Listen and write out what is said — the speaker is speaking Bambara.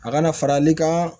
A kana farali ka